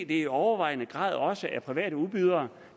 det i overvejende grad også er private udbydere